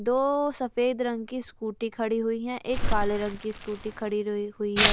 दो सफेद रंग की स्कूटी खड़ी हुई है एक काले रंग की स्कूटी खड़ी हुई है।